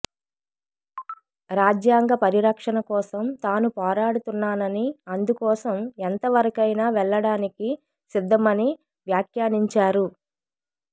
రాజ్యాంగ పరిరక్షణ కోసం తాను పోరాడుతున్నానని అందుకోసం ఎంత వరకైనా వెళ్లడానికి సిద్ధమని వ్యాఖ్యానించారు